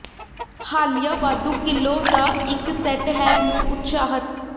ਹਾਲੀਆ ਵਾਧੂ ਿਕਲੋ ਦਾ ਇੱਕ ਸੈੱਟ ਹੈ ਨੂੰ ਉਤਸ਼ਾਹਤ